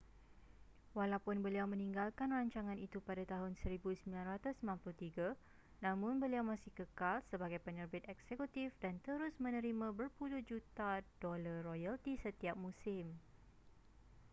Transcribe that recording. walaupun beliau meninggalkan rancangan itu pada tahun 1993 namun beliau masih kekal sebagai penerbit eksekutif dan terus menerima berpuluh juta dolar royalti setiap musim